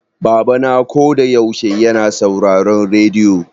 Baba na ko da yaushe yana sauraron rediyo.